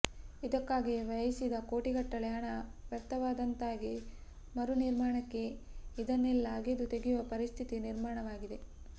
ಇದಕ್ಕಾಗಿ ವ್ಯಯಿಸಿದ ಕೋಟಿಗಟ್ಟಲೆ ಹಣ ವ್ಯರ್ಥವಾದಂತಾಗಿ ಮರು ನಿರ್ಮಾಣಕ್ಕೆ ಇದನ್ನೆಲ್ಲಾ ಅಗೆದು ತೆಗೆಯುವ ಪರಿಸ್ಥಿತಿ ನಿರ್ಮಾಣವಾಗಿದೆ